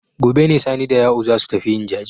Gobe ne Sani da Ya'u za su tafi yin jaje.